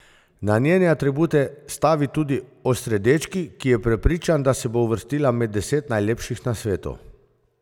Na njene atribute stavi tudi Osredečki, ki je prepričan, da se bo uvrstila med deset najlepših na svetu.